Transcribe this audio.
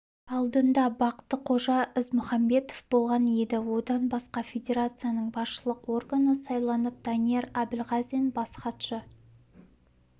алдында бақтықожа ізмұхамбетов болған еді одан басқа федерацияның басшылық органы сайланып данияр әбілғазин бас хатшы